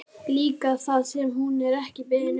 Líka það sem hún er ekki beðin um.